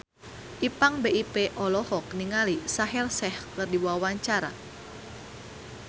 Ipank BIP olohok ningali Shaheer Sheikh keur diwawancara